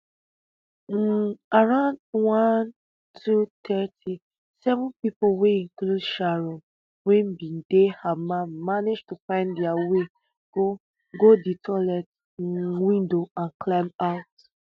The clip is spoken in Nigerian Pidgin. um around one two-thirty seven pipo wey include sharon wey bin dey hamal manage to find dia way go go di toilet um window and climb out